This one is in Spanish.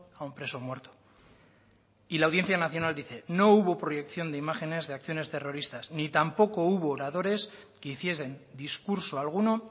a un preso muerto y la audiencia nacional dice no hubo proyección de imágenes de acciones terroristas ni tampoco hubo oradores que hiciesen discurso alguno